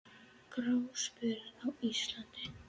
Gráspör á Íslandi